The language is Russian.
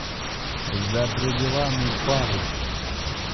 за пределами пари